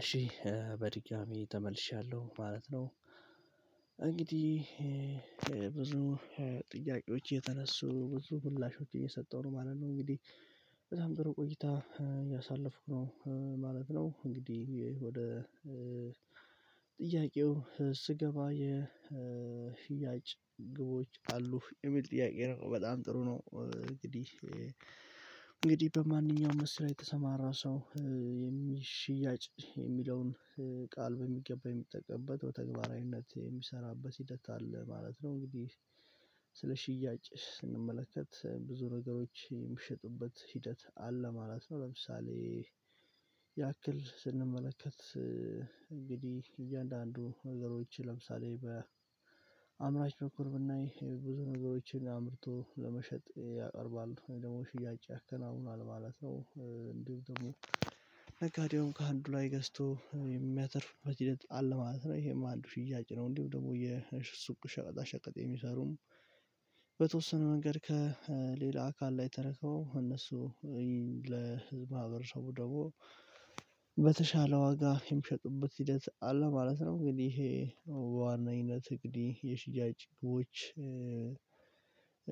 እሺ በድጋሚ ተመልሻለሁ ማለት ነው። እንግዲህ ብዙ ጥያቄዎች የተነሱ ብዙ ሙላሾች እየሰጠው ነው ማለት ነው። እንግዲህ በጣም ጥሩ ቆይታ ያሳለፍኩ ነው ማለት ነው። እንግዲህ ወደ ጥያቄው ስገባ የህያጭ ግቦች አሉ የሚል ጥያቄ በጣም ጥሩ ነው። እንግዲህ እንግዲህ በማንኛውም ስራ የተሰማራ ሰው የሚሽያጭ የሚለውን ቃል በሚገባ የሚጠቀምበት በተግባራዊነት የሚሰራበት ሂደት አለ ማለት ነው። እንግዲህ ስለ ሽያጭ ስንመለከት ብዙ ነገሮች የሚሸጡበት ሂደት አለ ማለት ነው። ለምሳሌ ያክል ስንመለከት እንግዲህ እያንዳንዱ ነገሮች ለምሳሌ በአምራች ብኩር ብናይ ብዙ ነገሮችን አምርቶ ለመሸጥ ያቀርባል ደግሞ ሽያጭ ያከናውናል ማለት ነው። እንዲሁ ደግሞ ነጋዴውም ላይ ገዝቶ የሚያተርፍ በዚህ ልጅ አለ ማለት ነው ይሄ አንዱ ሽያጭ ነው። እንዲሁ ደግሞ የሽርሱ ቁሸቀጣ ሸቀጥ የሚሰሩም በተወሰነ መንገድ ከሌላ አካል ላይ ተረከው እነሱ ለህዝብ ሀብረሰቡ ደግሞ በተሻለ ዋጋ የሚሸጡበት ሂደት አለ ማለት ነው። እንግዲህ ዋናዊነት እግዲህ የሽያጭ ግቦች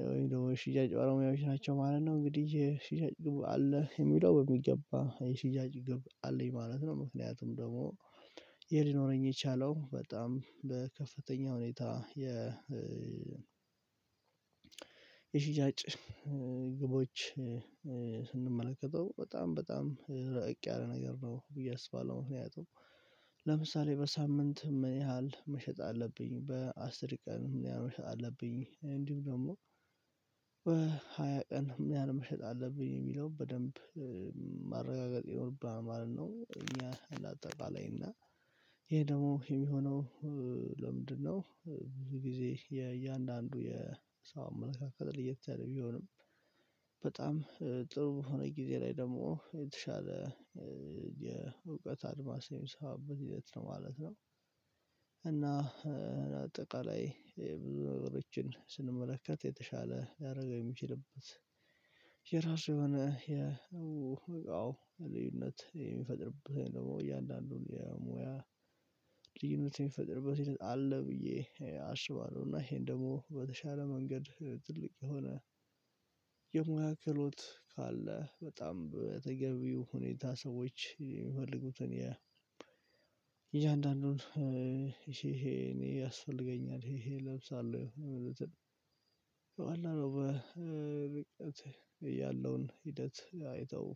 ወይም ደግሞ ሽያጭ ባለሙያዎች ናቸው ማለት ነው። እንግዲህ የሽያጭ ግብ አለ የሚለው በሚገባ የሽያጭ ግብ አለኝ ማለት ነው። ምክንያቱም ደግሞ የሊኖረኝ የቻለው በጣም በከፍተኛ ሁኔታ የ የሽጃጭ ግቦች ስንመለከተው በጣም በጣም ርቅ ያለ ነገር ነው ብዬ አስባለሁ ነው። ያጡት ለምሳሌ በሳምንት ምን ያህል መሸጥ አለብኝ በአስር ቀን ምን ያህል መሸጥ አለብኝ እንዲሁ ደግሞ በሃያ ቀን ምን ያህል መሸጥ አለብኝ የሚለው በደንብ ማረጋገጥ የሆነብኝ ማለት ነው። እኛ እንዳጠቃላኝ እና ይሄ ደግሞ የሚሆነው ለምንድነው? ብዙ ጊዜ የእያንዳንዱ የሰው አመለካከት ልየት ተለይ ቢሆንም በጣም ጥሩ የሆነ ጊዜ ላይ ደግሞ የተሻለ የእውቀት አድማስ የሚሰባበት ሂደት ነው ማለት ነው። እና አጠቃላይ ይሄ ብዙ ነገሮችን ስንመለከት የተሻለ ያደረገው የሚችልበት የራሱ የሆነ የልዩነት የሚፈጥርብህ ደግሞ እያንዳንዱን የሙያ ልዩነት የሚፈጥርበት አለ ብዬ አስባለሁ። እና ይሄን ደግሞ በተሻለ መንገድ ትልቅ የሆነ የመካከለኛው ካለ በጣም በተገቢው ሁኔታ ሰዎች የሚፈልጉትን የ እያንዳንዱን ይሄ ይሄ እኔ ያስፈልገኛል ይሄ እለብሳለሁ የሆነ ነገር ነው የምለው አለው በርቀት ያለውን ሂደት አይተው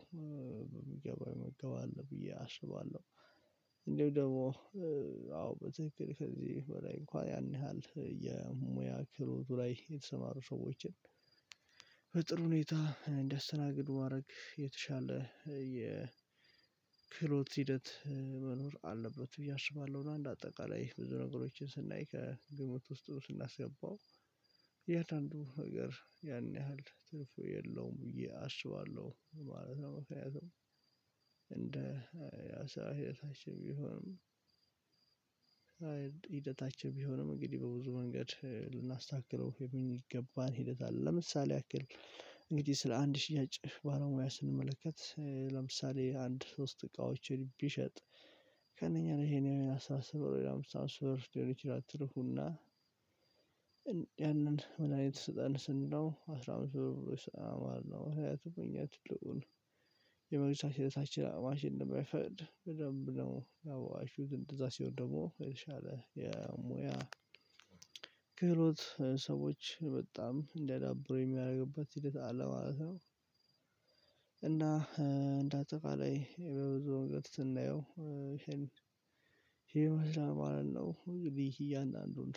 በሚገባው ይመገባል ብዬ አስባለሁ። እንደው ደግሞ አዎ በትክክል ከዚህ በላይ እንኳን ያን ያህል የሙያ ክህሎቱ ላይ የተሰማሩ ሰዎችን በጥሩ ሁኔታ እንዳስተናግዱ ማድረግ የተሻለ የክሎት ሂደት መኖር አለበት ብዬ አስባለሁ። አንድ አጠቃላይ ብዙ ነገሮችን ስናይ ከግምት ውስጥ ስናስገባው የአንዳንዱ ሀገር ያን ያህል ትርፍ የለውም እያሰባለሁ ማለት ነው መሆኑን እንደ ያሰራ ቢሆንም ሂደታችን ቢሆንም እንግዲህ በብዙ መንገድ ልናስተካክለው የሚገባን ሂደት አለ። ለምሳሌ ያክል እንግዲህ ስለ አንድ ሽያጭ ባለሙያ ስንመለከት ለምሳሌ አንድ ሶስት እቃዎችን ቢሸጥ ከእነኚህ ነው ይሄን ያው አስተሳሰብ ለምሳሌ ብር ይችላል ትርፉና ያንን ምን አይነት ስጠን ስንለው አስራ አምስት ብር ስራ አማር ነው ህይወቱ መኝታ ትልቁን የመግቢያ ስህተታችን አቅማሽ እንደማይፈልግ በደንብ ነው ያው አይ ሹድ እንደዛ ሲሆን ደግሞ የተሻለ የሙያ ክህሎት ሰዎች በጣም እንዳዳብሩ የሚያደርግባት ሂደት አለ ማለት ነው። እና እንደ አጠቃላይ በብዙ ወንገት ስናየው ሄልድ ሄልድ ማለት ነው። እንግዲህ እያንዳንዱን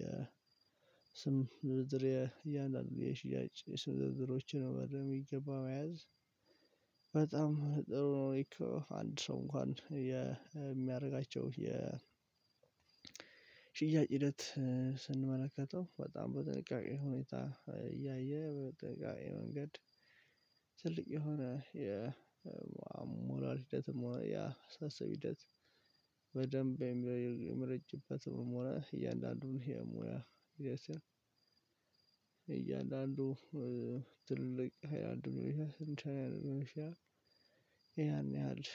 የስም ዝርዝር እያንዳንዱ የሽያጭ የስም ዝርዝሮችን በደንብ የሚገባ መያዝ በጣም ጥሩ ነው። እኮ አንድ ሰው እንኳን የሚያደርጋቸው የ ሽያጭ ሂደት ስንመለከተው በጣም በጥንቃቄ ሁኔታ እያየ በጥንቃቄ መንገድ ትልቅ የሆነ የሞራል ሂደትም ያ ሳስብ ሂደት። በደንብ የሚረጅበትም ሆነ እያንዳንዱን የሙያ እያንዳንዱ ትልቅ ሃይላንድ ይሄ ስንት ያን ያህል